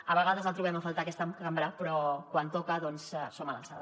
a vegades el trobem a faltar en aquesta cambra però quan toca doncs estem a l’alçada